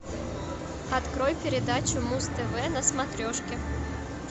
открой передачу муз тв на смотрешке